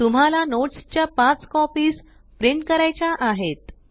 तुम्हाला नोट्स च्या पाच कॉपीस प्रिंट करायच्या आहेत